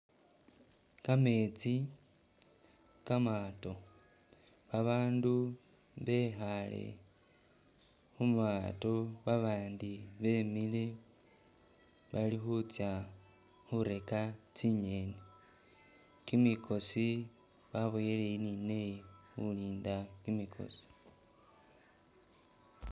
Kametsi, kamaato, babandu bekhaale khu mato babandi bemile bali khutsa khureka tsingeni. Kimikosi baboyele eyi ni neyi khulinda kimikosi